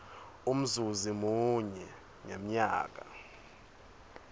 umzuzi munye ngemnyaka